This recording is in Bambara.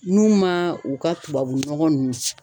N'u ma u ka tubabu nɔgɔ nunnu